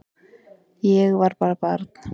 Ég var bara barn